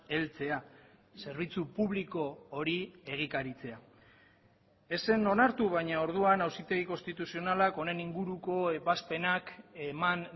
heltzea zerbitzu publiko hori egikaritzea ez zen onartu baina orduan auzitegi konstituzionalak honen inguruko ebazpenak eman